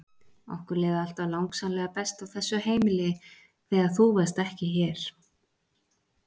Okkur leið alltaf langsamlega best á þessu heimili þegar þú varst ekki hér!